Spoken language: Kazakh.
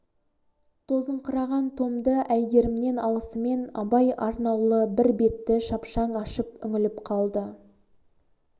тозыңқыраған томды әйгерімнен алысымен абай арнаулы бір бетті шапшаң ашып үңіліп қалды